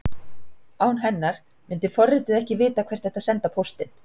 Án hennar myndi forritið ekki vita hvert ætti að senda póstinn.